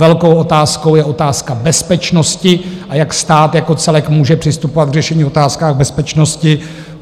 Velkou otázkou je otázka bezpečnosti, a jak stát jako celek může přistupovat k řešení otázek bezpečnosti.